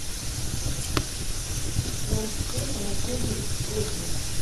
джамшед анатольевич козин